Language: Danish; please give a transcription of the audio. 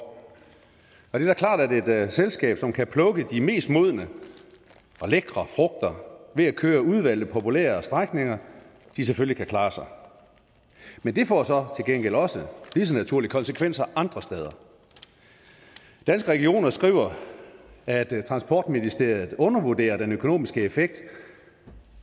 og det er da klart at et selskab som kan plukke de mest modne og lækre frugter ved at køre udvalgte populære strækninger selvfølgelig kan klare sig men det får så til gengæld også lige så naturligt konsekvenser andre steder danske regioner skriver at transportministeriet undervurderer den økonomiske effekt